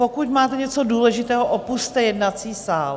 Pokud máte něco důležitého, opusťte jednací sál.